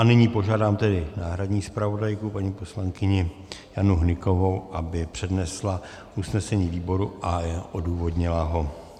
A nyní požádám tedy náhradní zpravodajku paní poslankyni Janu Hnykovou, aby přednesla usnesení výboru a odůvodnila ho.